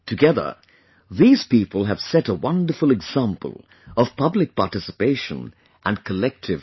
Together, these people have set a wonderful example of public participation and collective effort